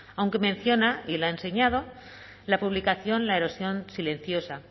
aunque menciona y lo ha enseñado la publicación la erosión silenciosa